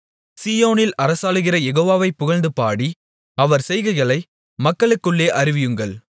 சீயோனில் அரசாளுகிற யெகோவாவைப் புகழ்ந்து பாடி அவர் செய்கைகளை மக்களுக்குள்ளே அறிவியுங்கள்